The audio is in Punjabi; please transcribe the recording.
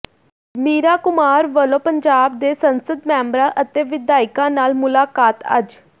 ਮੀਰਾ ਕੁਮਾਰ ਵੱਲੋਂ ਪੰਜਾਬ ਦੇ ਸੰਸਦ ਮੈਂਬਰਾਂ ਅਤੇ ਵਿਧਾਇਕਾਂ ਨਾਲ ਮੁਲਾਕਾਤ ਅੱਜ